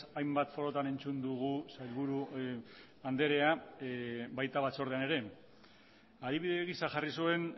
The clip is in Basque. hainbat foroetan entzun dugu sailburu anderea eta baita batzordean ere adibidez gisa jarri zuen